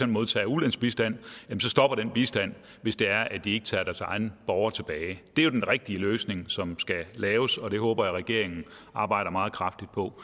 modtager ulandsbistand så stopper den bistand hvis det er at de ikke tager deres egne borgere tilbage det er jo den rigtige løsning som skal laves og det håber jeg regeringen arbejder meget kraftigt på